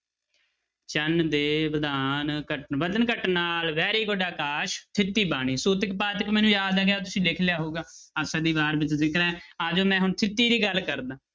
ਚੰਨ ਦੇ ਵਧਾਣ ਘਟ~ ਵਧਣ ਘਟਣ ਨਾਲ very good ਅਕਾਸ ਥਿੱਤੀ ਬਾਣੀ ਸੂਤਕ ਪਾਤਕ ਮੈਨੂੰ ਯਾਦ ਆ ਗਿਆ ਤੁਸੀਂ ਲਿਖ ਲਿਆ ਹੋਊਗਾ, ਆਸਾ ਦੀ ਵਾਰ ਆ ਜਾਓ ਮੈਂ ਹੁਣ ਥਿੱਤੀ ਦੀ ਗੱਲ ਕਰਦਾਂ।